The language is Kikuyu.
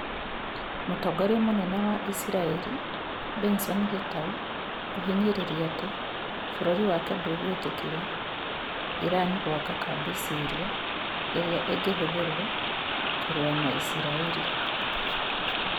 Mũtongoria mũnene wa Isiraĩri Benson Gitau kũhinyĩrĩria atĩ bũrũri wake ndagwĩtĩkĩria Iran gwaka kambĩ Syria ĩrĩa ĩngĩhũthĩrwo kũrũa na Isiraĩri